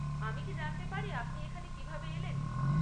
আমি কি জানতে পারি আপনি এখানে কীভাবে এলেন?